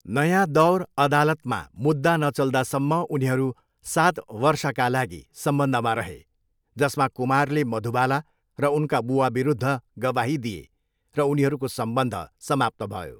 नयाँ दौर अदालतमा मुद्दा नचल्दासम्म उनीहरू सात वर्षका लागि सम्बन्धमा रहे, जसमा कुमारले मधुबाला र उनका बुबाविरुद्ध गवाही दिए र उनीहरूको सम्बन्ध समाप्त भयो।